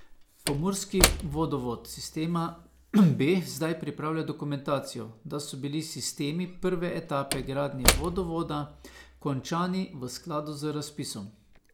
Pomurski vodovod sistema B zdaj pripravlja dokumentacijo, da so bili sistemi prve etape gradnje vodovoda končani v skladu z razpisom.